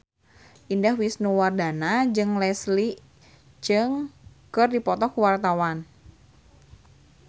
Indah Wisnuwardana jeung Leslie Cheung keur dipoto ku wartawan